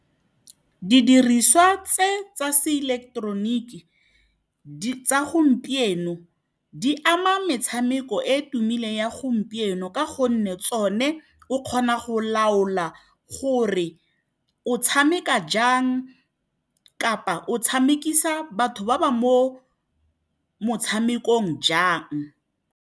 Didiriswa tse tsa se eleketeroniki tsa gompieno di ama metshameko e e tumileng ya gompieno, ka gonne tsone o kgona go laola gore o tshameka jang kapa o tshamekisana batho ba ba mo motshamekong jang.